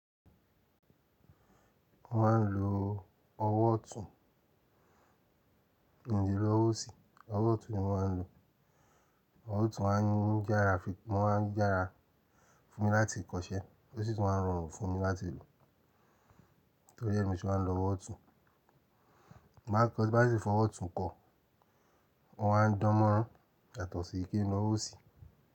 Mo máa ń lo ọwọ́ ọ̀tún, mi o lé lo ọwọ́ òsì, ọwọ́ ọ̀tún ni mo máa ń lo. Ọwọ́ ọ̀tún ma ń yára fi-- wọ́n ma ń yára fún mi láti kọṣẹ́, ó sì tún máa ń rọrùn fún mi láti lo. Torí ẹ̀ ní mo se ma n lọ ọwọ́ ọ̀tún. Bí bá ti fọ ọwọ́ ọ̀tún kọ, wọ́n á dánmọ́rán yàtọ̀ sí kí ni ọwọ́ òsì.